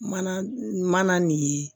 Mana mana nin ye